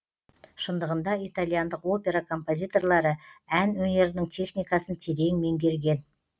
шындығында итальяндық опера композиторлары ән өнерінің техникасын терең меңгерген